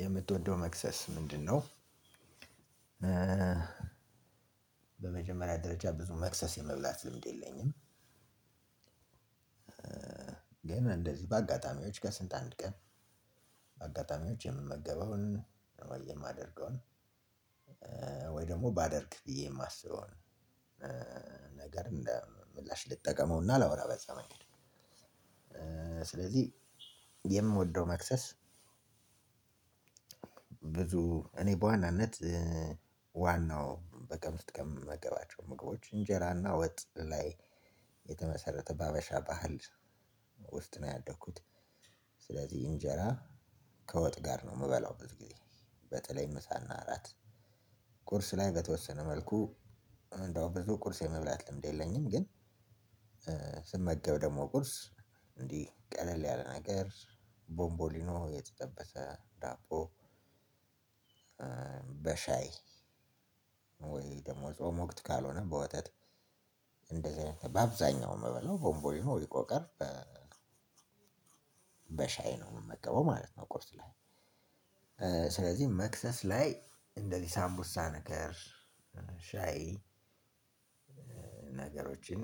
የምትወደው መከሰስ ምንድ ነወ? በመጀመሪያ ደረጃ ብዙ መክሰስ የመብላት ልምድ የለኝም። ግን እንደዚህ በአጋጣሚዎች ከስንት አንድ ቀን በአጋጣሚዎች የምመገበውን ወይ የማደርገውን ወይ ደግሞ ባደርግ ብዬ የማስበው ነገር ምላሽ ልጠቀመውና ላወራ በዛ መንገድ። ስለዚህ የምወደው መክሰስ ብዙ እኔ በዋናነት ዋናው በቀን ውስጥ ከምገባቸው ምግቦች እንጀራና ወጥ ላይ የተመሰረተ በሀበሻ ባህል ውስጥ ነው ያደኩት። እንጀራ ከወጥ ጋር ነው የምበላው በዚህ ጊዜ በተለይ ምሳና እራአት። ቁርስ ላይ በተወሰነ መልኩ እንዳውም ብዙም ቁርስ የመብላት ልምድ የለኝም። ግን ስመገብ ደግሞ ቁርስ እንዲህ ቀለል ያለ ነገር ቦምቦሊኖ የተጠበሰ ዳቦ። በሻይ ወይ ደግሞ ጾም ወቅት ካልሆነ በወተት እንደዚህ በአብዛኛው ምበላው ቦንቦሊኖ ቆቀር በሻይ ነው የምመገበው ማለት ነው። ቁርስ ላይ ስለዚህ መክሰስ ላይ እንደዚህ ሳንቡሳ ነገር ሻይ ነገሮችን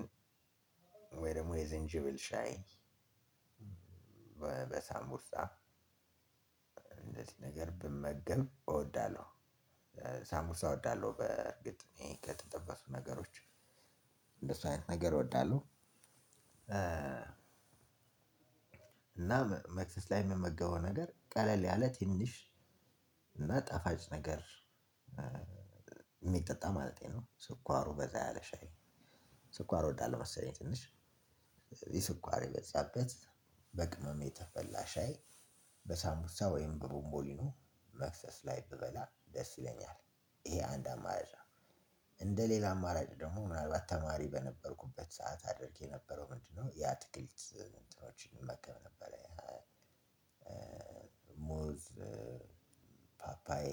ወይ ደግሞ የዝንጅብል ሻይ በሳምቡሳ እንደዚህ ነገር ብመገብ እወዳለሁ። ሳምቡሳ እወዳለሁ በእርግጥ እኔ ከተጠበሱ ነገሮች እንደሱ አይነት ነገር እወዳለሁ። እና መክሰስ ላይ የምመገበው ነገር ቀለል ያለ ትንሽ እና ጣፋጭ ነገር የሚጠጣ ማለቴ ነው። ስኳሩ በዛ ያለ ሻይ ስኳር ወዳለው መሰለኝ ትንሽ የስኳር የበዛበት በቅመም ተፈላ ሻይ በሳንቡሳ ወይም በቡንቦሊኖ መክሰስ ላይ ብበላ ደስ ይለኛል ይሄ አንድ አማራጭ ነው። እንደ ሌላ አማራጭ ደግሞ ምናልባት ተማሪ በነበርኩበት ሰዓት አድርጌ የነበረው ምንድነው? ያ የአትክልት እንትኖችን እመገብ ነበር። ሞዝ ፓፓዬ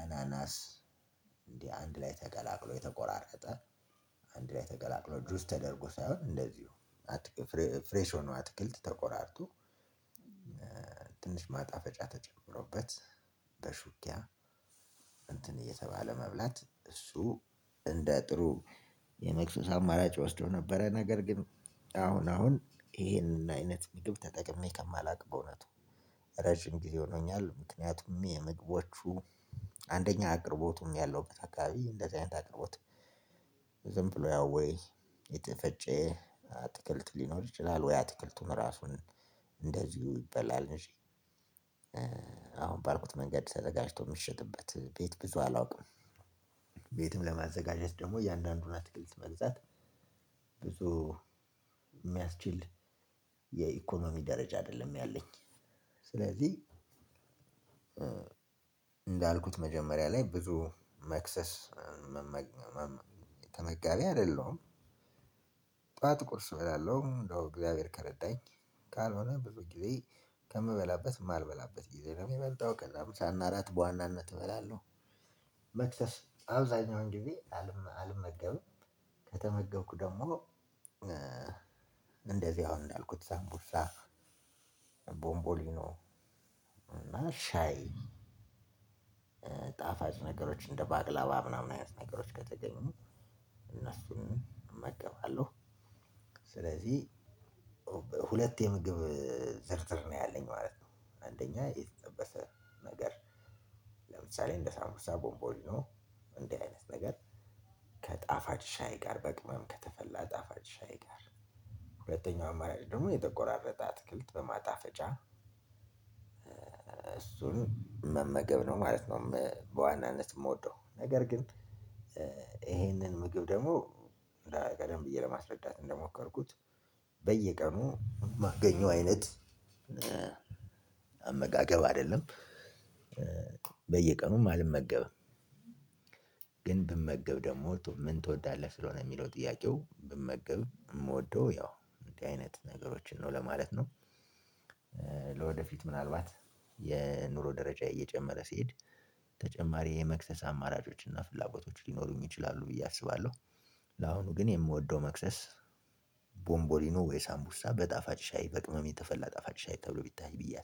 አናናስ እንዲህ አንድ ላይ ተቀላቅሎ የተቆራረጠ አንድ ላይ ተቀላቅሎ ጁስ ተደርጎ ሳይሆን እንደዚሁ ፍሬሽ ሆኖ አትክልት ተቆራርጦ ትንሽ ማጣፈጫ ተጨምሮበት በሹኪያ እንትን እየተባለ መብላት እሱ እንደ ጥሩ የመክሰስ አማራጭ ወስዶ ነበረ። ነገር ግን አሁን አሁን ይሄንን አይነት ምግብ ተጠቅሜ ከማላውቅ በእውነቱ ረጅም ጊዜ ሆኖኛል። ምክንያቱም የምግቦቹ አንደኛ አቅርቦቱም ያለው አካባቢ እንደዚህ አይነት አቅርቦት ዝም ብሎ ያወይ የተፈጨ አትክልት ሊኖር ይችላል። ወይ አትክልቱም ራሱን እንደዚሁ ይበላል እንጂ አሁን ባልኩት መንገድ ተዘጋጅቶ የምትሸጥበት ቤት ብዙ አላውቅም። ቤትም ለማዘጋጀት ደግሞ እያንዳንዱን አትክልት መግዛት ብዙ የሚያስችል የኢኮኖሚ ደረጃ አደለም ያለኝ። ስለዚህ እንዳልኩት መጀመሪያ ላይ ብዙ መክሰስ ተመጋቢ አይደለሁም። ጠዋት ቁርስ እበላለሁ እንደው እግዚአብሔር ከረዳኝ ካልሆነ ብዙ ጊዜ ከምበላበት ማልበላበት ጊዜ ነው የሚበልጠው ከዛ ምሳናእራት በዋናነት እበላለሁ። መክፈስ አብዛኛውን ጊዜ አልመገብም። ከተመገብኩ ደግሞ ከተመገብኩ ደግሞ ሳንቡሳ ቦንቦሊኖ ሻይ ነገሮች እንደ ባቅላባ ምናምን አይነት ነገሮች ከተገኙ እነሱን እመገባለሁ። ስለዚህ ሁለት የምግብ ዝርዝር ነው ያለኝ ማለት ነው። አንደኛ የጠበሰ ነገር ለምሳሌ እንደ ሳንኩሳ ቦንቦሊኖ እንዲህ አይነት ነገር ከጣፋጭ ሻይ ጋር በቅመም ከተፈላ ጣፋጭ ሻይ ጋር ሁለተኛው አማራጭ ደግሞ የተቆራረጠ አትክልት በማጣፈጫ እሱን መመገብ ነው ማለት ነው። በዋናነት የምወደው ነገር ግን ይሄንን ምግብ ደግሞ ቀደም ብዬ ለማስረዳት እንደሞከርኩት በየቀኑ ማገኘው አይነት አመጋገብ አይደለም። በየቀኑም አልመገብም። ግን ብመገብ ደግሞ ምን ትወዳለህ? ስለሆነ የሚለው ጥያቄው ብመገብ የምወደው ያው አይነት ነገሮችን ነው ለማለት ነው። ለወደፊቱ ምናልባት የኑሮ ደረጃዬ እየጨመረ ሲሄድ ተጨማሪ የመክሰስ አማራጮች እና ፍላጎቶች ሊኖሩኝ ይችላሉ። ለአሁኑ ግን የምወደው መክሰስ ቦምቦሊኖ ወይስ አምቡሳ በጣፋጭ ሻይ በቅመም ተፈላ ጣፋጭ ሻይ ተብሎ ቢታይ ብዬ